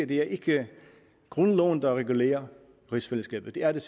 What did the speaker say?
det er ikke grundloven der regulerer rigsfællesskabet det er det